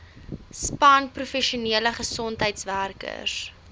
span professionele gesondheidswerkers